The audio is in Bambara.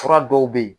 Fura dɔw bɛ yen